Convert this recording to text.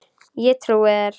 Ég trúi þér